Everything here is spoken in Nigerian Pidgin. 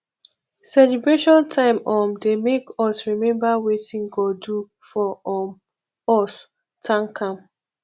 celebration time um dey make us remember wetin god do for um us thank am